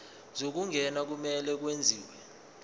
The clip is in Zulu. zokungena kumele kwenziwe